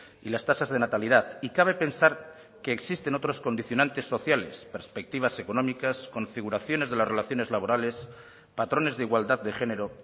y las tasas de natalidad y cabe pensar que existen otros condicionantes sociales perspectivas económicas configuraciones de las relaciones laborales patrones de igualdad de género